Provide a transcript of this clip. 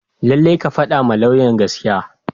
Lallai ka fadawa lauyan gaskiya.